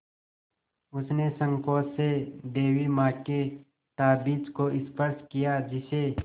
उसने सँकोच से देवी माँ के ताबीज़ को स्पर्श किया जिसे